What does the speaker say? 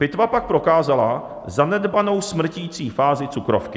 Pitva pak prokázala zanedbanou smrtící fázi cukrovky.